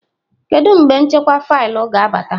Kedu mgbe nchekwa faịlụ ga-abata?